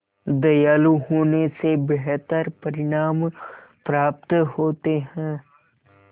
दयालु होने से बेहतर परिणाम प्राप्त होते हैं